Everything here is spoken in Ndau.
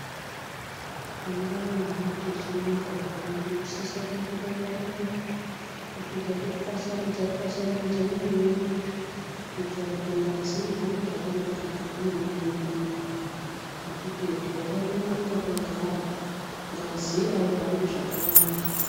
Mangwanani techimuka zviya tinosise kumborumba rumba topedza totwasanudza twasanudza muiri wedu uyu kuitire kuti ngazi ihambe zvakanaka mukati mwemuiri mwedumwo ngekuti tikade kungomuka togara ngazi aihambi zvakanaka.